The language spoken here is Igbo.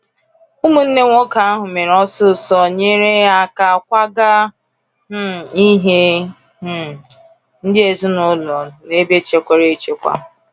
Ụmụnne nwoke ahụ mere ọsịsọ nyere aka kwaga um ihe um ndị ezinụlọ um n’ebe chekwara echekwa.